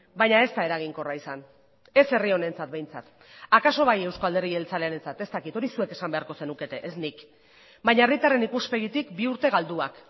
baina ez da eraginkorra izan ez herri honentzat behintzat akaso bai euzko alderdi jeltzalearentzat ez dakit hori zuek esan beharko zenukete ez nik baina herritarren ikuspegitik bi urte galduak